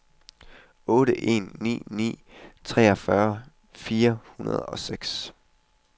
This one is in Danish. otte en ni ni treogfyrre fire hundrede og seks